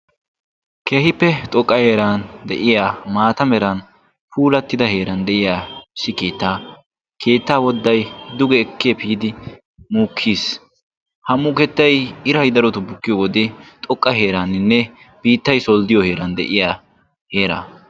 Keehippe xoqqa heeran de'iyaa keehippe puulattida heeran de'iyaa keettaa wodday duge ekki epiidi muukkiis. ha mukettay iray darotoo bukkiyoo wode xoqqa heeraninne biittay solddiyoo heeran de'iyaa heeraa.